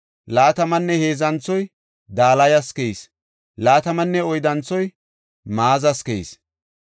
Laatamanne heedzanthoy Dalayas keyis. Laatamanne oyddanthoy Maazas keyis.